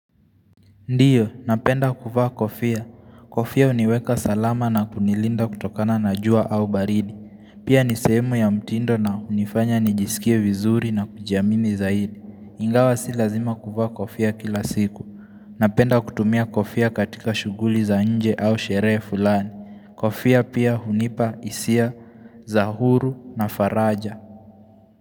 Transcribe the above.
Ndio, napenda kuvaa kofia. Kofia huniweka salama na kunilinda kutokana na jua au baridi. Pia ni sehemu ya mtindo na hunifanya nijisikie vizuri na kujiamini zaidi. Ingawa si lazima kuvaa kofia kila siku. Napenda kutumia kofia katika shughuli za nje au sherehe fulani. Kofia pia hunipa hisia, za huru na faraja.